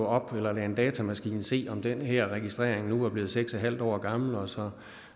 op eller lade en datamaskine se om den her registrering nu er blevet seks en halv år gammel og så